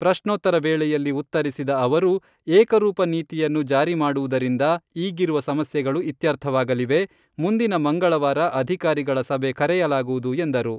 ಪ್ರಶ್ನೋತ್ತರ ವೇಳೆಯಲ್ಲಿ ಉತ್ತರಿಸಿದ ಅವರು , ಏಕರೂಪ ನೀತಿಯನ್ನು ಜಾರಿ ಮಾಡುವುದರಿಂದ ಈಗಿರುವ ಸಮಸ್ಯೆಗಳು ಇತ್ಯರ್ಥವಾಗಲಿವೆ, ಮುಂದಿನ ಮಂಗಳವಾರ ಅಧಿಕಾರಿಗಳ ಸಭೆ ಕರೆಯಲಾಗುವುದು ಎಂದರು.